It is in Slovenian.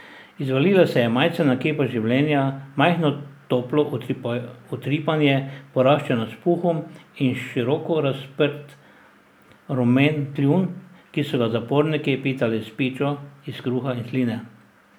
Izvalila se je majcena kepa življenja, majhno toplo utripanje, poraščeno s puhom, in široko razprt rumen kljun, ki so ga zaporniki pitali s pičo iz kruha in sline.